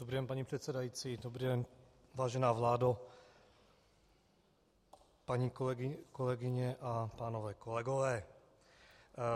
Dobrý den, paní předsedající, dobrý den, vážená vládo, paní kolegyně a pánové kolegové.